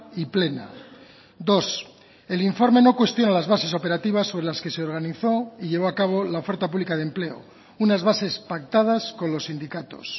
y plena dos el informe no cuestiona las bases operativas sobre las que se organizó y llevó a cabo la oferta pública de empleo unas bases pactadas con los sindicatos